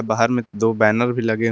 बाहर मे दो बैनर भी लगे हुए--